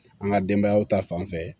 An ka denbayaw ta fanfɛ